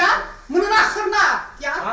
Dayan, bunun axırına Dayan.